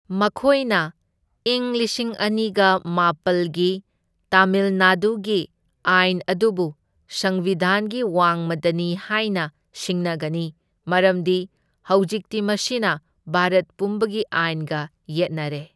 ꯃꯈꯣꯢꯅ ꯏꯪ ꯂꯤꯁꯤꯡ ꯑꯅꯤꯒ ꯃꯥꯄꯜꯒꯤ ꯇꯥꯃꯤꯜ ꯅꯥꯗꯨꯒꯤ ꯑꯥꯏꯟ ꯑꯗꯨꯕꯨ ꯁꯝꯕꯤꯙꯥꯟꯒꯤ ꯋꯥꯡꯃꯗꯅꯤ ꯍꯥꯢꯅ ꯁꯤꯡꯅꯒꯅꯤ, ꯃꯔꯝꯗꯤ ꯍꯧꯖꯤꯛꯇꯤ ꯃꯁꯤꯅ ꯚꯥꯔꯠ ꯄꯨꯝꯕꯒꯤ ꯑꯥꯏꯟꯒ ꯌꯦꯠꯅꯔꯦ꯫